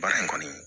Baara in kɔni